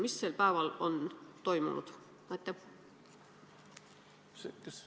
Mis sel päeval on toimunud?